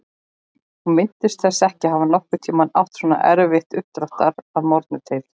Hún minntist þess ekki að hafa nokkurn tímann átt svona erfitt uppdráttar að morgni til.